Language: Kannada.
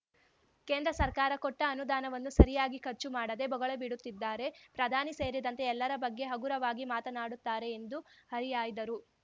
ಕೇಂದ್ರ ಸರ್ಕಾರ ಕೊಟ್ಟ ಅನುದಾನವನ್ನು ಸರಿಯಾಗಿ ಖರ್ಚು ಮಾಡದೆ ಬೊಗಳೆ ಬಿಡುತ್ತಿದ್ದಾರೆ ಪ್ರಧಾನಿ ಸೇರಿದಂತೆ ಎಲ್ಲರ ಬಗ್ಗೆ ಹಗುರವಾಗಿ ಮಾತನಾಡುತ್ತಾರೆ ಎಂದು ಹರಿಹಾಯ್ದರು